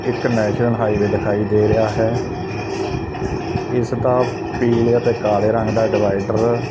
ਇਕ national highway ਦਿਖਾਈ ਦੇ ਰਿਹਾ ਹੈ ਇਸ ਦਾ ਪੀਲੇ ਅਤੇ ਕਾਲੇ ਰੰਗ ਦਾ ਡਿਵਾਈਡਰ --